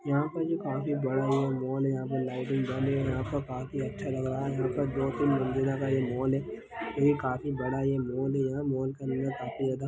यहाँ पे जो काफी बाद मॉल है यहाँ पर लाइटिंग बन है यहाँ पर काफी अच्छा लग रहा है यहाँ पर दो तीन मज़िला का मॉल है ये काफी बड़ा ये मॉल है यह मॉल के अंदर काफी ज्यादा --